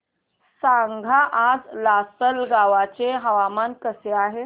सांगा आज लासलगाव चे हवामान कसे आहे